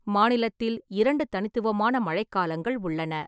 மாநிலத்தில் இரண்டு தனித்துவமான மழைக் காலங்கள் உள்ளன: